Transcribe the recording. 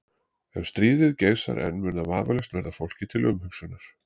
Ef stríðið geisar enn mun það vafalaust verða fólki til umhugsunar.